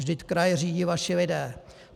Vždyť kraje řídí vaší lidé.